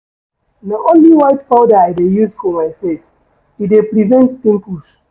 Na only white powder I dey use for my face, e dey prevent pimples.